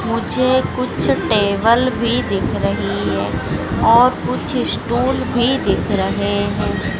मुझे कुछ टेबल भी दिख रही है और कुछ स्टूल भी दिख रहे हैं।